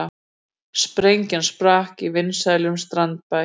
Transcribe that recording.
Sprengja sprakk í vinsælum strandbæ